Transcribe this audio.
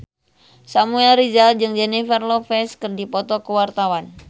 Samuel Rizal jeung Jennifer Lopez keur dipoto ku wartawan